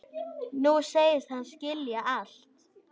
Nú segist hann skilja allt.